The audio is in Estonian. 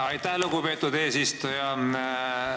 Aitäh, lugupeetud eesistuja!